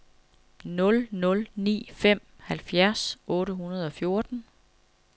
nul nul ni fem halvfjerds otte hundrede og fjorten